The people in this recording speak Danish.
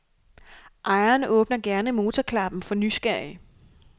Ejeren åbner gerne motorklappen for nysgerrige.